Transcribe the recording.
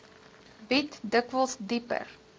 bied dikwels dieper